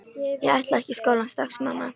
Ég ætla ekki í skólann strax, mamma!